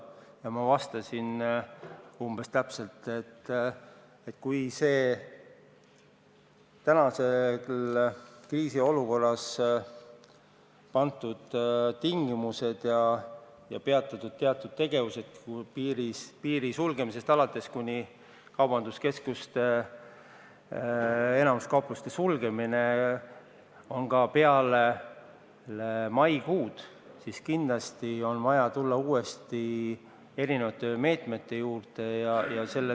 Ja ma vastasin umbes-täpselt, et kui praeguses kriisiolukorras kehtivad tingimused alates piiri sulgemisest kuni kaubanduskeskuste ja enamiku muude kaupluste sulgemiseni on jõus ka peale maikuud, siis kindlasti on vaja uuesti erinevaid meetmeid arutada.